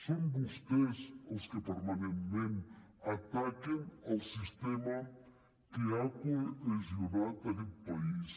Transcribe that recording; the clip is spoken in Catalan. són vostès els que permanentment ataquen el sistema que ha cohesionat aquest país